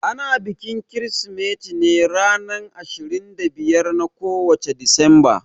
Ana bikin Kirsimeti ne ashirin da biyar na kowace Disamba.